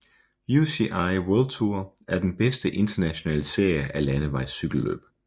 UCI World Tour er den bedste internationale serie af landevejscykelløb